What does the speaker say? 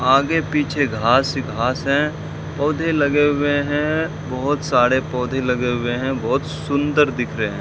आगे पीछे घास ही घास हैं पौधे लगे हुए हैं बहोत सारे पौधे लगे हुए हैं बहोत सुंदर दिख रहे --